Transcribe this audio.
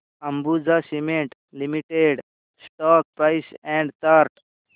Ambuja cement limited stock price and chart